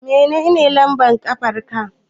Menene lambar ƙafarka.